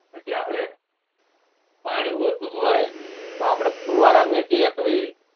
બાકી આપને પછી આપડે પાણી જોવતું હોય તો આપડે ફુવારા મુકીએ